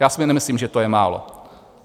Já si nemyslím, že to je málo.